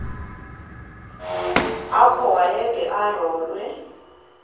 apho wayede arolwe